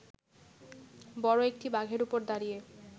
বড় একটি বাঘের ওপর দাঁড়িয়ে